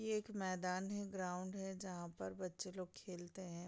ये एक मैदान है ग्राउंड है जहाँ पर बच्चे लोग खेलते है।